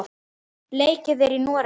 Leikið er í Noregi.